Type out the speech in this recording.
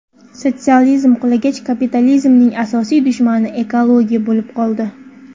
Sotsializm qulagach, kapitalizmning asosiy dushmani ekologiya bo‘lib qoldi.